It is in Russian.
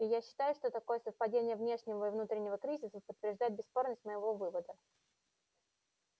и я считаю что такое совпадение внешнего и внутреннего кризисов подтверждает бесспорность моего вывода